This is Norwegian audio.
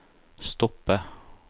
stoppe